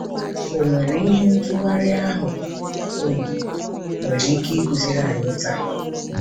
Ọ nwere ihe ntụgharị ahụ um nwere ike ịkụziri anyị taa?